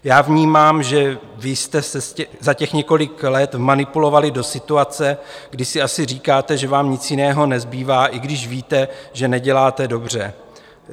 Já vnímám, že vy jste se za těch několik let vmanipulovali do situace, kdy si asi říkáte, že vám nic jiného nezbývá, i když víte, že neděláte dobře.